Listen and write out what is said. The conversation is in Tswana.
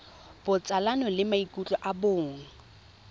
botsalano le maikutlo a bong